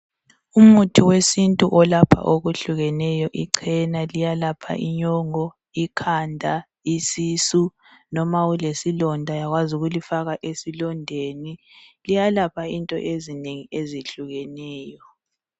Umuthi wesintu olapha okuhlukeneyo. Ichena liyalapha inyongo, ikhanda, isisu noma ulesilonda uyakwazi ukulifaka esilondeni. Liyalapha into ezinengi ezehlukeneyo.